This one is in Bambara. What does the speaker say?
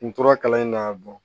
N tora kalan in na